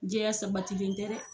Jɛya sabatilen tɛ dɛ.